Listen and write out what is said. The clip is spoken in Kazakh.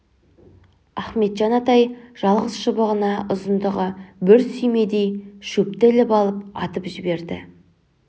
ахметжан атай жалғыз шыбығына ұзындығы бір сүйемдей шөпті іліп алып атып жіберді